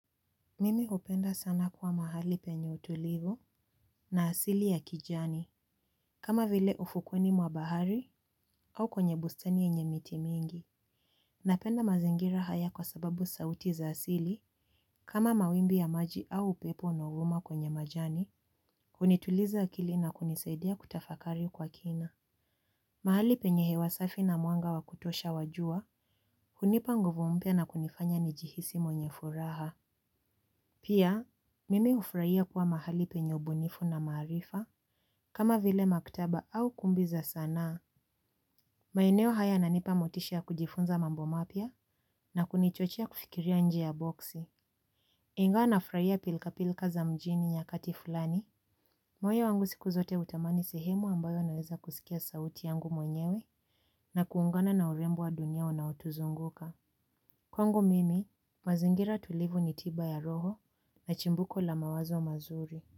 Mimi hupenda sana kuwa mahali penye utulivo na asili ya kijani. Kama vile ufukweni mwa bahari au kwenye bustani yenye miti mingi. Napenda mazingira haya kwa sababu sauti za asili kama mawimbi ya maji au upepo na huvuma kwenye majani hunituliza akili na kunisaidia kutafakari kwa kina. Mahali penye hewasafi na mwanga wa kutosha wajua hunipa nguvu mpya na kunifanya nijihisi mwenye furaha. Pia Mimi hufurahia kuwa mahali penye ubunifu na maarifa kama vile maktaba au kumbi za sanaa. Maeneo haya yananipa motisha ya kujifunza mambo mapya na kunichochea kufikiria nje ya boksi. Ingawa nafurahia pilika pilika za mjini nyakati fulani. Moyo wangu siku zote hutamani sehemu ambayo naweza kusikia sauti yangu mwenyewe na kuungana na urembo wa dunia unaotuzunguka. Kwangu mimi, mazingira tulivu ni tiba ya roho na chimbuko la mawazo mazuri.